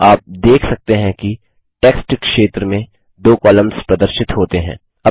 आप देख सकते हैं कि टेक्स्ट क्षेत्र में 2 कॉलम्स प्रदर्शित होते हैं